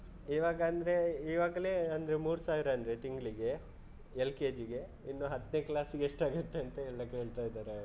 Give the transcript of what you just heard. ಇವಾಗ ಅಂದ್ರೆ, ಇವಾಗ್ಲೆ ಅಂದ್ರೆ ಮೂರು ಸಾವಿರ ಅಂದ್ರೆ ತಿಂಗ್ಳಿಗೆ LKG ಗೆ ಇನ್ನು ಹತ್ನೇ class ಗೆ ಎಷ್ಟಾಗುತ್ತೆ ಅಂತ ಎಲ್ಲ ಕೇಳ್ತಾ ಇದ್ದಾರೆ.